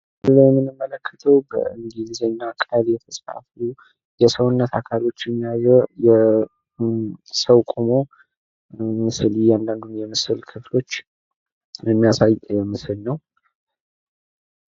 ይህ የምንመለክተው በእንግሊዘኛ ቃል የተጻፈ የሰውነት አካሎችን የያዘ ወይም ሰው ቁሞ አካል ክፍል እያመለከቱ የሚያሳይ ምስል ነው።